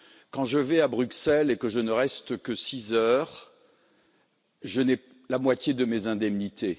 Quand je vais à Bruxelles et que je ne reste que six heures, je n'ai que la moitié de mes indemnités.